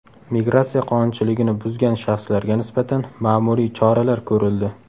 Migratsiya qonunchiligini buzgan shaxslarga nisbatan ma’muriy choralar ko‘rildi.